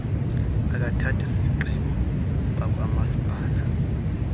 abathathi zigqibo bakwamasipala